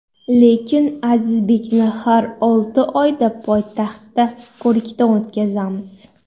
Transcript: Lekin Azizbekni har olti oyda poytaxtda ko‘rikdan o‘tkazamiz.